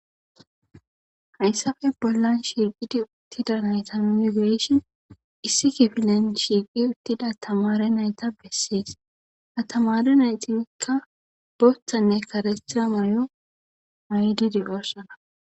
hayssafe bollan shirqidi uttida nayta migireshon issi gifilen shiiqi uttida tamare nayta bessees atamare naytinkka boththanne karestira mayo maydi digorsana